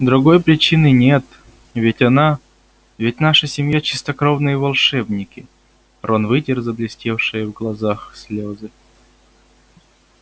другой причины нет ведь она ведь наша семья чистокровные волшебники рон вытер заблестевшие в глазах слезы